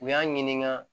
U y'a ɲininka